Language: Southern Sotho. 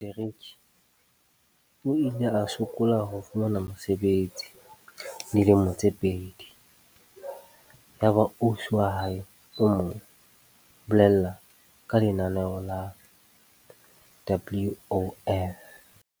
Kamora ho phethela materiki o ile a sokola ho fumana mosebetsi dilemo tse pedi. Yaba ausi wa hae o mo bolella ka lenaneo la WOF.